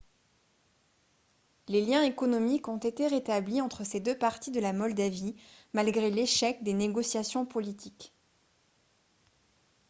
les liens économiques ont été rétablis entre ces deux parties de la moldavie malgré l'échec des négociations politiques